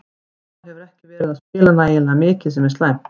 Hólmar hefur ekki verið að spila nægilega mikið sem er slæmt.